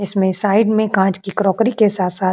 इसमें साइड में कांच की क्रोकरी के साथ साथ --